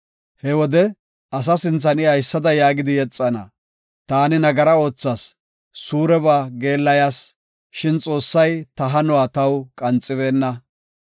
He wode asa sinthan I haysada yaagidi yexana; ‘Taani nagaraa oothas; suureba geellayas; shin Xoossay ta hanuwa taw qanxibeenna.